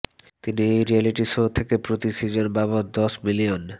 তিনি এই reality show থেকে প্রতি সিজন বাবদ দশ মিলিয়ন